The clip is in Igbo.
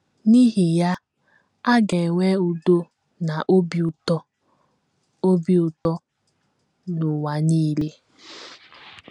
N’ihi ya, a ga - enwe udo na obi ụtọ obi ụtọ n’ụwa nile.